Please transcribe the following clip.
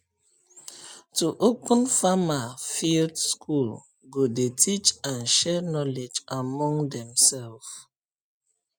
to open farmer field school go dey teach and share knowledge among dem self